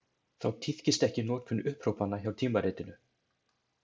Þá tíðkist ekki notkun upphrópana hjá tímaritinu.